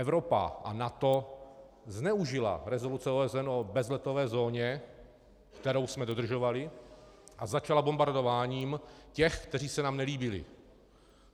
Evropa a NATO zneužila rezoluce OSN o bezletové zóně, kterou jsme dodržovali, a začala bombardováním těch, kteří se nám nelíbili.